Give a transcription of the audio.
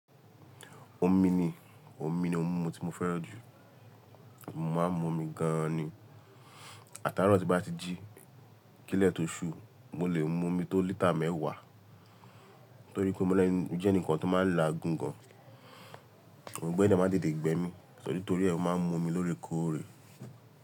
Omi ni, omi ní ohun mumu tí mo fẹ́ràn jù. Mo máa ń mu omi gan ni. Àtàárọ̀ tí bá ti jí, kílẹ̀ tó ṣú, mo lè mu omi tó lítà mẹ́wàá. Torí pé mo jẹ́ ǹikan tó máa ń laa gùn gan. Òungbẹ de maá ń tete gbẹ mí, so nitori ẹ́, mo máa ń mu omi lórí kòrè.